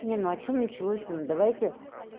не ну а что началось то ну давайте